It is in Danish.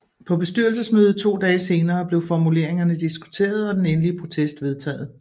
På bestyrelsesmødet to dage senere blev formuleringerne diskuteret og den endelige protest vedtaget